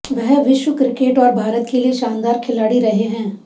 वह विश्व क्रिकेट और भारत के लिए शानदार खिलाड़ी रहे हैं